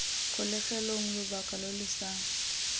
kgolegelong lobaka lo lo sa